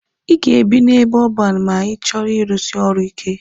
Ị ga-ebi n'ebe ọban ma ị chọrọ ịrusi ọrụ ike.